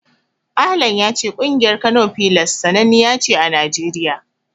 Ahlan ya ce ƙungiyar Kano Pillars sananniya ce a Najeriya.